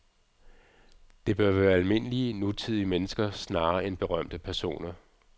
Det bør være almindelige, nutidige mennesker snarere end berømte personer.